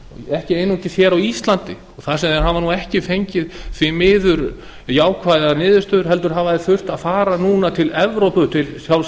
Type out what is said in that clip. ekki einungis hér á íslandi þar sem þeir hafa nú ekki fengið því miður jákvæðar niðurstöður heldur hafa þeir þurft að fara núna til evrópu til sjálfs